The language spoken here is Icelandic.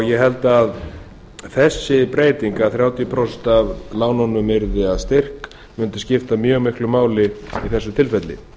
ég held að þessi breyting að þrjátíu prósent af lánunum yrði að styrk mundi skipta mjög miklu máli í þessu